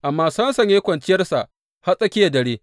Amma Samson ya yi kwanciyarsa har tsakiyar dare.